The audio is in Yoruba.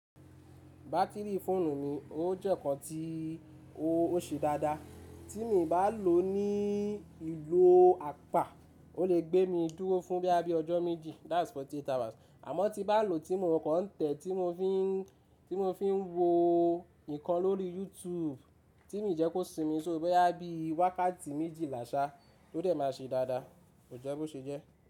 Batiri fóònù mi o jẹ nkán ti o ó se dada. Ti mi ba lo ní iló apá o le gbé mi dúró fún bóyá bíi ọjọ́ méjì, that's forty eight hours, àmọ́ tí bá n lò tí mo kàn tẹ̀ tí mo fi ń wo ǹkan lórí YouTube tí mi jẹ́ kó sinmi so boyà bí wákàtí méjìlà ṣà, tóde máa se dáadáa, kò jẹ́ bó se jẹ́.